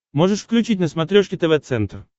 можешь включить на смотрешке тв центр